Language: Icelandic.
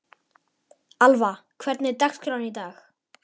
Alva, hvernig er dagskráin í dag?